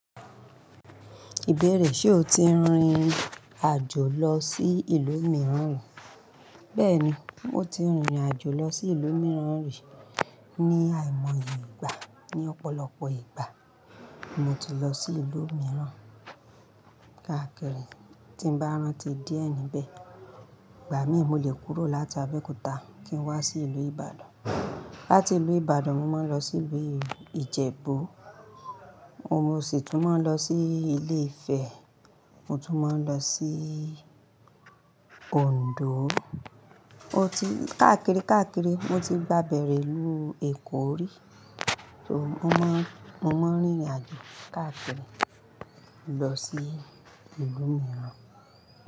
Ìbéèrè, ṣe o ti rìnrìn àjò lọ sí ìlú mìíràn rí? Bẹ́ẹ̀ni, mo ti rìnrìn àjò lọ sí ìlú mìíràn rí ní àìmọye ìgbà. Ni ọ̀pọ̀lọpọ̀ ìgbà, mo ti lọ sí ìlú mìíràn. Káàkiri, tí n bá rán ti di ẹni bẹ́ẹ̀. Ìgbà míì, mo le kúrò láti Abẹ́òkúta kí n wá sí ìlú Ìbàdàn. Láti ìlú Ìbàdàn, mo máa ń lọ sí ìlú Ìjẹ̀bú. Mo sì tún máa ń lọ sí ilé Ifẹ̀, mo tún máa ń lọ sí Òǹdó. O ti káàkiri, káàkiri. Mo ti gba bẹ̀rẹ̀ ìlú Èkó rí. Mo máa ń, mo máa ń rìnrìn àjò káàkiri lọ sí ìlú mìíràn.